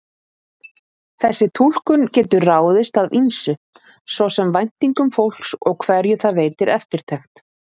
Þessi túlkun getur ráðist af ýmsu, svo sem væntingum fólks og hverju það veitir eftirtekt.